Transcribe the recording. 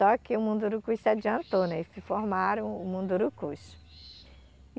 Só que o Mundurucus se adiantou né e formaram o Mundurucus.